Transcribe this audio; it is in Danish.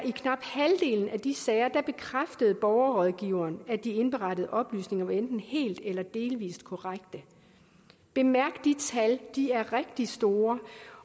i knap halvdelen af de sager bekræftede borgerrådgiveren at de indberettede oplysninger var enten helt eller delvis korrekte bemærk de tal de er rigtig store